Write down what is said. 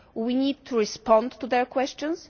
We need to respond to their questions.